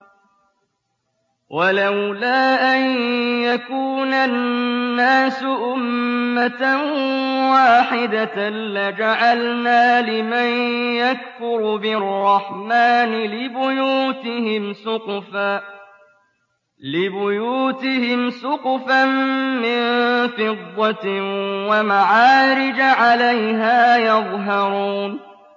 وَلَوْلَا أَن يَكُونَ النَّاسُ أُمَّةً وَاحِدَةً لَّجَعَلْنَا لِمَن يَكْفُرُ بِالرَّحْمَٰنِ لِبُيُوتِهِمْ سُقُفًا مِّن فِضَّةٍ وَمَعَارِجَ عَلَيْهَا يَظْهَرُونَ